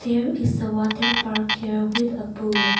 here is a waterpark here with a pool.